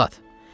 Cəllad!